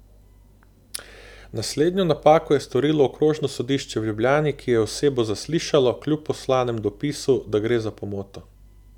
Naslednjo napako je storilo okrožno sodišče v Ljubljani, ki je osebo zaslišalo, kljub poslanemu dopisu, da gre za pomoto.